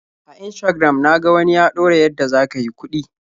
A Instagram na ga wani ya ɗora yadda za ka yi kuɗi.